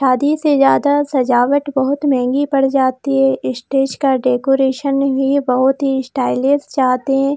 आधी से ज्यादा सजावट बहुत महंगी पड़ जाती है स्टेज का डेकोरेशन ही बहुत ही स्टाइलिस जाते --